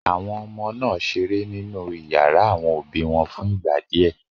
Àwọn ọmọ náà ṣeré nínú ìyàrá àwọn òbí wọn fún ìgbà díẹ̀.